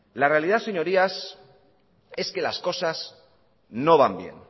la realidad señorías es que las cosas no van bien